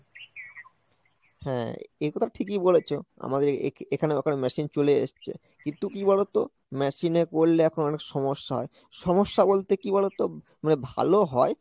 হ্যাঁ, এ কথা ঠিকই বলেছো আমাদের এখানে ওখানে machine চলে এসছে কিন্তু কি বলতো? machine এ করলে এখন অনেক সমস্যা হয়, সমস্যা বলতে কি বলতো? মানে ভালো হয়